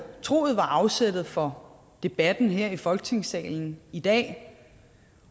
troet var afsættet for debatten her i folketingssalen i dag